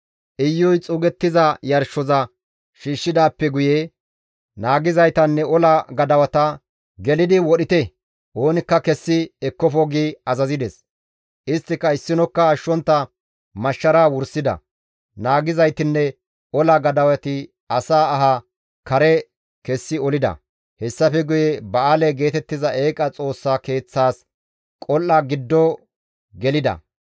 Iyuy xuugettiza yarshoza shiishshidaappe guye naagizaytanne ola gadawata, «Gelidi wodhite; oonikka kessi ekkofo» gi azazides. Isttika issinokka ashshontta mashshara wursida; naagizaytinne ola gadawati asaa aha kare kessi olida; hessafe guye ba7aale geetettiza eeqa xoossa keeththas qol7a giddo gelida.